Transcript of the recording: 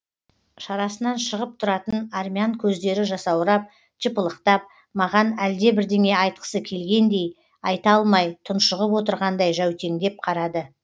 шарасынан шығып тұратын армян көздері жасаурап жыпылықтап маған әлдебірдеңе айтқысы келгендей айта алмай тұншығып отырғандай жәутеңдеп қарады